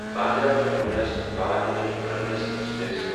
Bandra terminus Bhavnagar terminus express